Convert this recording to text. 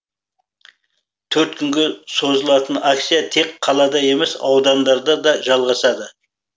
төрт күнге созылатын акция тек қалада емес аудандарда да жалғасады